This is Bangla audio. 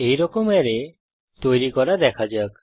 এইরকম অ্যারে তৈরী করা দেখা যাক